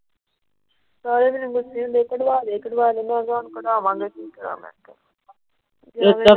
ਸਾਰੇ ਮੈਨੂੰ ਕੱਢਵਾ ਕੱਢਵਾ ਦੇ। ਮੈ ਕਿਹਾ ਹੁਣ ਕੱਢਵਾਂਗੇ ।